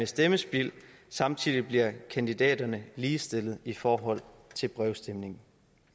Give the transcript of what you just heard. stemmespild samtidig bliver kandidaterne ligestillet i forhold til brevstemning